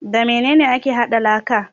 Da mene ne ake hada laka?